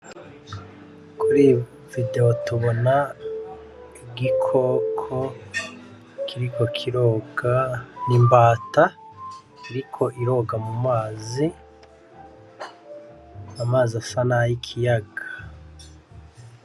Kuri video tubona igikoko kiriko kiroga, n'imbata iriko iroga mumazi. Amazi asa nay'ikiyaga.